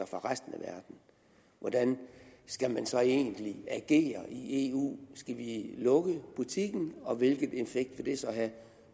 fra resten af verden hvordan skal man så egentlig agere i eu skal vi lukke butikken og hvilken effekt vil det så have